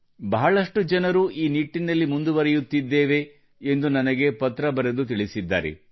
ಬಹಳಷ್ಟು ಜನರು ಈ ನಿಟ್ಟಿನಲ್ಲಿ ಮುಂದುವರೆಯುತ್ತಿದ್ದೇವೆ ಎಂದು ನನಗೆ ಪತ್ರ ಬರೆದು ತಿಳಿಸಿದ್ದಾರೆ